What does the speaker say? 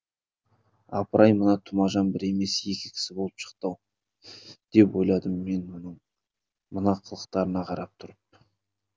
апырай мына тұмажан бір емес екі кісі болып шықты ау деп ойладым мен мына қылықтарына қарап тұрып